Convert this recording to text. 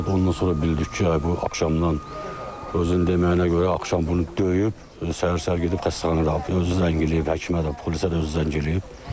Ondan sonra bildik ki, ay bu axşamdan özünün deməyinə görə axşam bunu döyüb, səhər-səhər gedib xəstəxanaya özü zəng eləyib, həkimə də, polisə də özü zəng eləyib.